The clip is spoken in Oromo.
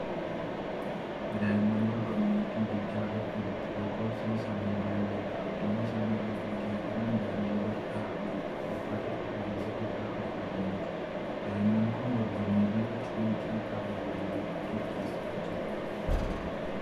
Daa'imman dorgommii fiigichaa irra jiru. Lakkoofsi isaanii baay'eedha. Iddoon isaan irra fiigaa jiran daandii bal'aa wayiidha. Uffata cuquliisa ifaa uffatanii jiru. Daa'imman kun dorgommii bifa xiiqii qabu wayii gaggeessaa jiru.